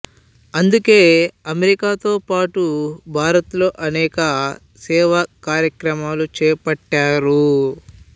అందుకే అమెరికాతో పాటు భారత్ లో అనేక సేవా కార్యక్రమాలు చేపట్టారు